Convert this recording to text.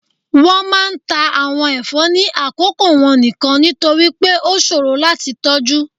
wọn máà ń ta awon ẹfọ ni akoko wọn nikan, nitori pe o ṣoro lati tọju.